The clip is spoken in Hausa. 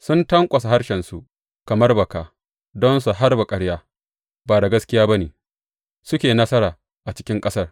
Sun tanƙwasa harshensu kamar baka, don su harba ƙarya; ba da gaskiya ba ne suke nasara a cikin ƙasar.